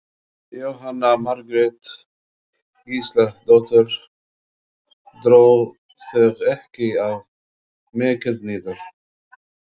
Jóhanna Margrét Gísladóttir: Dró þig ekki of mikið niður?